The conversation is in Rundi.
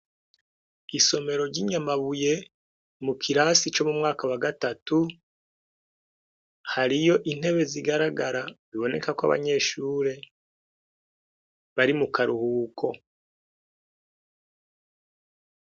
Isomero ry'i Nyamabuye, mukirasi co mumwaka wagatatu, hariyo intebe zigaragara bibonekako abanyeshure, bari mukaruhuko.